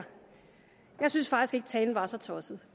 talen var så tosset